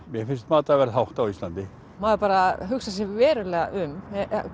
mér finnst matarverð hátt á Íslandi maður bara hugsar sig verulega um